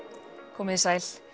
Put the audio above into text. komiði sæl